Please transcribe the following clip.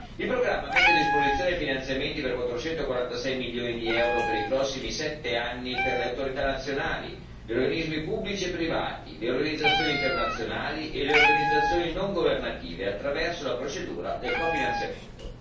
Il programma mette a disposizione finanziamenti per 446 milioni di euro per i prossimi 7 anni per le autorità nazionali, gli organismi pubblici e privati, le organizzazioni internazionali e le organizzazioni non governative attraverso la procedura del cofinanziamento.